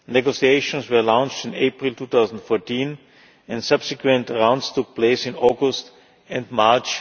Negotiations were launched in April 2014 and subsequent rounds took place in August and in March